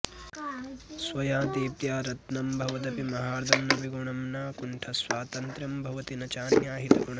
स्वया दीप्त्या रत्नं भवदपि महार्घं न विगुणं न कुण्ठस्वातन्त्र्यं भवति न चान्याहितगुणम्